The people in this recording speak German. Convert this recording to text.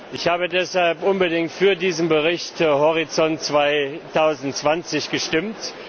Ich habe deshalb unbedingt für diesen Bericht Horizont 2020 gestimmt.